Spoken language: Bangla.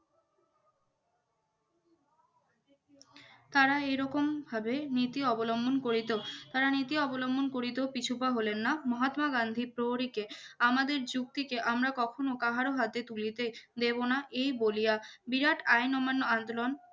তারা এরকম ভাবে নীতি অবলম্বন করে তো তার নীতি অবলম্বন করে তো পিছু পা হলেন না মহাত্মা গান্ধী পরীকে আমাদের যুক্তিকে আমরা কখনো কারো হাতে তুলে নিচে দেব না এই বলিয়া বিরাট আইন অমান্য আন্দোলন